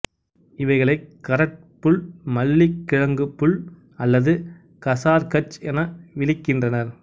இவைகளை கரட் புல் மல்லிக்கிழங்குப் புல் அல்லது கசார் கச் என விளிக்கின்றனர்